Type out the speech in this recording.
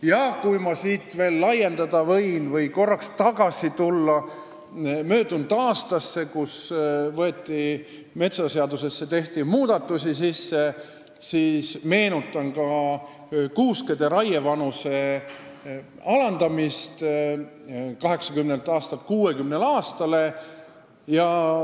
Ja kui ma teemat veidi laiendada võin, minnes korraks tagasi möödunud aastasse, mil metsaseadusesse muudatusi tehti, siis meenutan ka kuuskede raievanuse alandamist 80 aastalt 60 aastale.